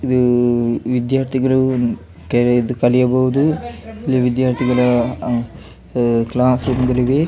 ಇದು ವಿದ್ಯಾರ್ಥಿಗಳು ಕಲಿಯಬಹುದು ಇಲ್ಲಿ ವಿದ್ಯಾರ್ಥಿಗಳ ಕ್ಲಾಸ್ ರೂಮ್ ಗಳಿವೆ-